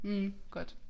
Mh godt